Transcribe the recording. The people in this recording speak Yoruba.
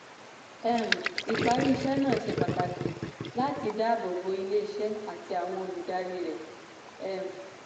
um ìparí iṣẹ́ náà ṣe pàtàkì láti dáàbò bo ilé-iṣẹ́ àti àwọn olùdarí rẹ̀. um